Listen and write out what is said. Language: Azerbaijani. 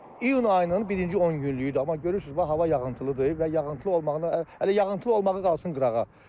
Və iyun ayının birinci 10 günlüküdür, amma görürsüz hava yağıntılıdır və yağıntılı olmağını hələ yağıntılı olmağı qalsın qırağa.